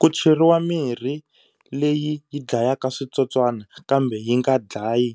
Ku cheriwa mirhi leyi yi dlayaka switsotswana kambe yi nga dlayi